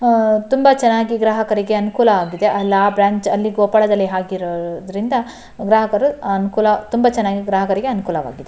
ಆಹ್ಹ್ ತುಂಬ ಚೆನ್ನಾಗಿ ಗ್ರಾಹಕರಿಗೆ ಅನುಕೂಲವಾಗಿದೆ. ಅಲ್ಲಿ ಆ ಬ್ರಾಂಚ್ ಅಲ್ಲಿ ಕೊಪ್ಪಳದಲ್ಲಿ ಹಾಕಿರೋದರಿಂದ ಗ್ರಾಹಕರು ಅನುಕೂಲ ತುಂಬ ಚೆನ್ನಾಗಿ ಗ್ರಾಹಕರಿಗೆ ಅನುಕೂಲವಾಗಿದೆ.